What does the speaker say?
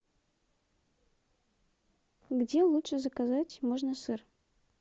где лучше заказать можно сыр